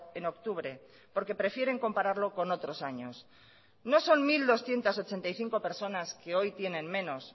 en octubre porque prefieren compararlo con otros años no son mil doscientos ochenta y cinco personas que hoy tienen menos